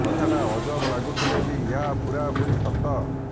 କଥାଟା ଅଜବ ଲାଗୁଥିଲେ ବି ଏହା ପୂରା ପୁରି ସତ